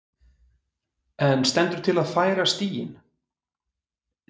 En stendur til að færa stíginn?